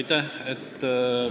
Jah, muidugi.